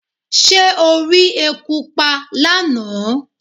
Ṣé o rí eku pa lánàá?